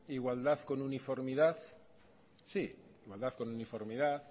igualdad con uniformidad sí igualdad con uniformidad